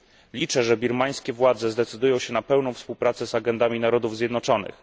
Liczę, że birmańskie władze zdecydują się na pełną współpracę z agendami Narodów Zjednoczonych.